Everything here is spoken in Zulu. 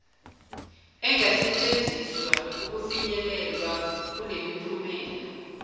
engasetshenziswa ukufinyelelwa kulemiphumela